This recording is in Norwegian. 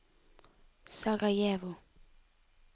Sarajevo